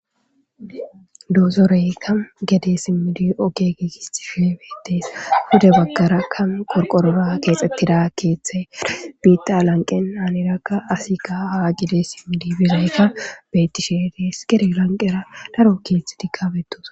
doosoreyka gede simmidi oke geegisti shuebeetes hude baggara ka qorqorora keexxettira keethther biita lanqen aanirakka asi ka ha gide simmidi bizaykka bettishedees gerilanqera daro keeth dikabetos